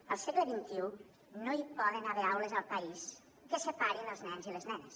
al segle xxi no hi poden haver aules al país que separin els nens i les nenes